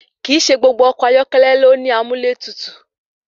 Kìí ṣe gbogbo ọkọ̀ ayọ́kẹ́lẹ́ ni ó ní amúlẹ́tutù.